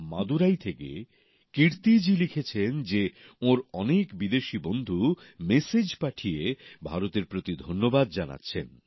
মাদুরাই থেকে কীর্তি জি লিখছেন যে ওঁর অনেক বিদেশি বন্ধু মেসেজ পাঠিয়ে ভারতের প্রতি ধন্যবাদ জানাচ্ছেন